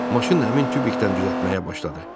Maşın həmin tubikdən düzəltməyə başladı.